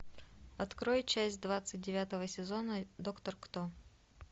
открой часть двадцать девятого сезона доктор кто